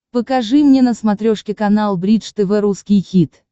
покажи мне на смотрешке канал бридж тв русский хит